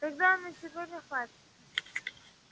тогда на сегодня хватит